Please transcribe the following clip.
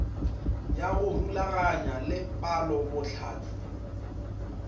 ya go rulaganya le palobohlatse